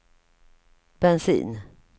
bensin